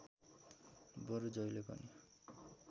बरु जहिले पनि